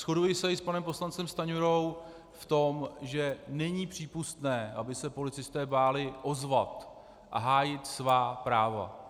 Shoduji se i s panem poslancem Stanjurou v tom, že není přípustné, aby se policisté báli ozvat a hájit svá práva.